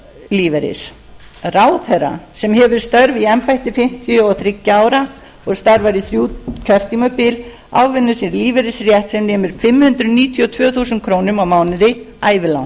lífeyris ráðherra sem hefur störf í embætti fimmtíu og þriggja ára og starfar í þrjú kjörtímabil ávinnur sér lífeyrisrétt sem nemur fimm hundruð níutíu og tvö þúsund krónur á mánuði ævilangt